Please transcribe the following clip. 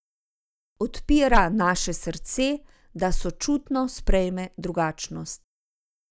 Odpira naše srce, da sočutno sprejme drugačnost.